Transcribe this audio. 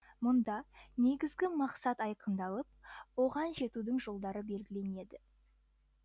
мұнда негізгі мақсат айқындалып оған жетудің жолдары белгіленеді